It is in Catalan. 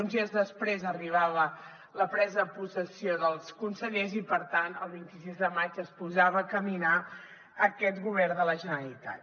uns dies després arribava la presa de possessió dels consellers i per tant el vint sis de maig es posava a caminar aquest govern de la generalitat